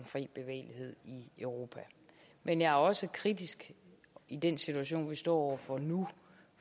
fri bevægelighed i europa men jeg er også kritisk i den situation vi står over for nu